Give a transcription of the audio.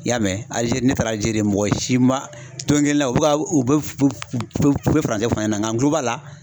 I y'a mɛn, Alizeri ne taara Alizeri mɔgɔ si ma don kelen na u be ka u bɛ fu fu furancɛ fɔ n ɲɛna nga n kulo b'a la